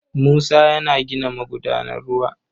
Musa yana gina magudanar ruwa.